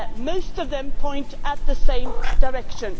in this regard. Most of them point in the